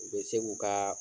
U be se k'u kaa